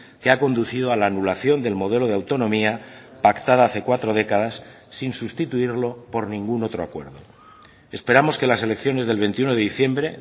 que ha conducido a la anulación del modelo de autonomía pactada hace cuatro décadas sin sustituirlo por ningún otro acuerdo esperamos que las elecciones del veintiuno de diciembre